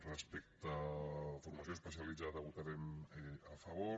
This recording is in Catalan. respecte a formació especialitzada hi votarem a favor